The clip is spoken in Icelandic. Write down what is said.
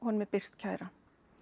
honum er birt kæra